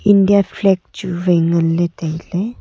india flag chu wai nganley tailey.